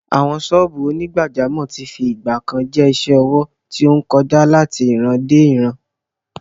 Àwọn sọ́ọ̀bù onígbàjámọ̀ tí fi ìgbà kan rí jẹ́ isẹ́ ọwọ́ tí ó ń kọjá láti ìrandéìran.